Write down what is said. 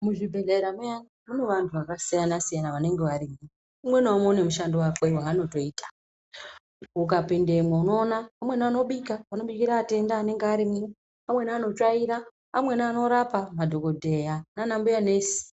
Muzvibhedhlera muya mune antu akasiyana -siyana anonga arimwo, umwe naumwe une mushando wake waanotoita. Ukapindemwo unoona amweni anobika, anobikire atenda anonga arimwo, amweni anotsvaira, amweni anorape madhokodheya naanambuya nesi.